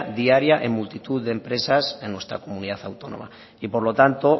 diaria en multitud de empresas en nuestra comunidad autónoma y por lo tanto